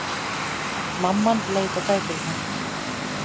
Mamman leit á bækurnar.